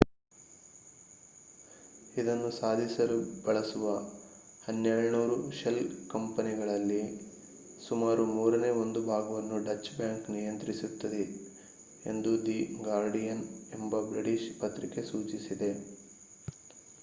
ಇದನ್ನು ಸಾಧಿಸಲು ಬಳಸುವ 1200 ಶೆಲ್ ಕಂಪನಿಗಳಲ್ಲಿ ಸುಮಾರು ಮೂರನೇ ಒಂದು ಭಾಗವನ್ನು ಡಚ್ ಬ್ಯಾಂಕ್ ನಿಯಂತ್ರಿಸುತ್ತಿದೆ ಎಂಬುದಾಗಿ ದಿ ಗಾರ್ಡಿಯನ್ ಎಂಬ ಬ್ರಿಟಿಷ್ ಪತ್ರಿಕೆ ಸೂಚಿಸಿದೆ